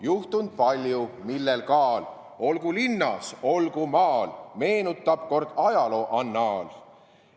Juhtund palju, millel kaal, olgu linnas, olgu maal, meenutab kord ajalooannaal.